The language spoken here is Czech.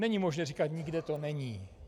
Není možné říkat: nikde to není.